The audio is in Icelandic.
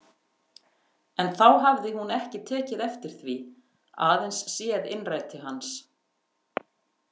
En þá hafði hún ekki tekið eftir því, aðeins séð innræti hans.